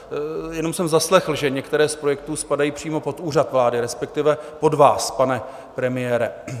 Jenom jsem zaslechl, že některé z projektů spadají přímo pod Úřad vlády, respektive pod vás, pane premiére.